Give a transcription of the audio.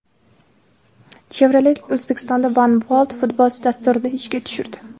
Chevrolet O‘zbekistonda One World Futbols dasturini ishga tushirdi.